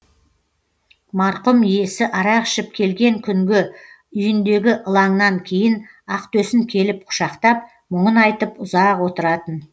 марқұм иесі арақ ішіп келген күнгі үйіндегі ылаңнан кейін ақтөсін келіп құшақтап мұңын айтып ұзақ отыратын